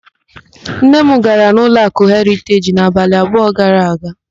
Nne m gara ụlọakụ Heriteji n'abalị abụọ gara aga.